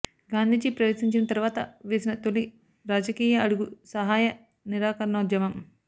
గాంధీజీ ప్రవేశించిన తరువాత వేసిన తొలి రాజకీయ అడుగు సహాయ నిరాకరణోద్యమం